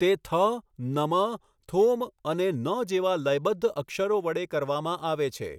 તે થ, નમ, થોમ અને ન જેવા લયબદ્ધ અક્ષરો વડે કરવામાં આવે છે.